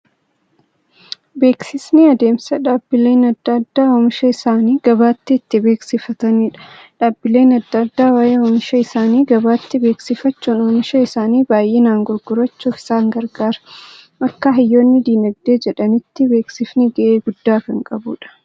Beeksisni adeemsa dhaabbileen adda addaa oomisha isaanii gabaatti itti beeksifataniidha. Dhaabbileen adda addaa waa'ee oomisha isaanii gabaatti beeksifachuun, oomisha isaanii baay'inaan gurgurachuuf isaan gargaara. Akka hayyoonni Diinagdee jedhanitti, beeksifni ga'ee guddaa kan qabuudha.